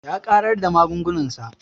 Ya ƙarar da magungunan sa